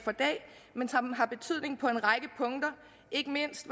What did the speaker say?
men som har betydning på en række punkter ikke mindst